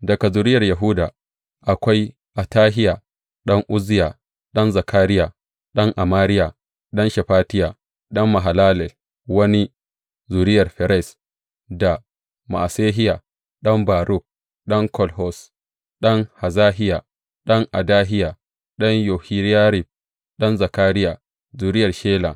Daga zuriyar Yahuda akwai, Atahiya ɗan Uzziya, ɗan Zakariya, ɗan Amariya, ɗan Shefatiya, ɗan Mahalalel, wani zuriyar Ferez; da Ma’asehiya ɗan Baruk, ɗan Kol Hoze, ɗan Hazahiya, ɗan Adahiya, ɗan Yohiyarib, ɗan Zakariya, zuriyar Shela.